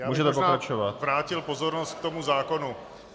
Já bych možná vrátil pozornost k tomu zákonu.